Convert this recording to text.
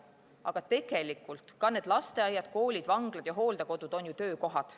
Aga tegelikult ka need lasteaiad, koolid, vanglad ja hooldekodud on ju töökohad.